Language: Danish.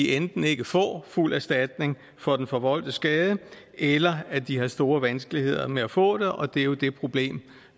enten ikke får fuld erstatning for den forvoldte skade eller at de har store vanskeligheder med at få det og det er jo det problem